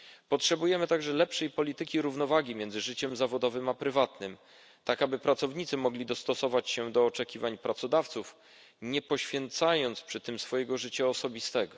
Potrzebujemy także lepszej polityki równowagi między życiem zawodowym a prywatnym, tak aby pracownicy mogli dostosować się do oczekiwań pracodawców, nie poświęcając przy tym swojego życia osobistego.